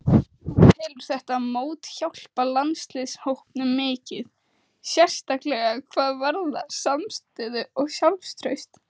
Hún telur þetta mót hjálpa landsliðshópnum mikið, sérstaklega hvað varðar samstöðu og sjálfstraust.